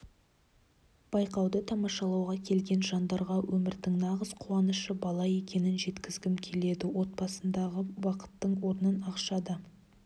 байқауды тамашалауға келген жандарға өмірдің нағыз қуанышы бала екенін жеткізгім келеді отбасындағы бақыттың орнын ақша да